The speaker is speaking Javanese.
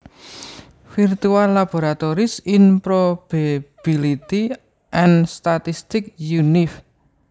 Virtual Laboratories in Probability and Statistics Univ